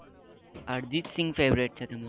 અર્જિત Singh favourite છે તમને